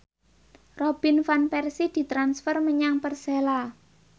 Robin Van Persie ditransfer menyang Persela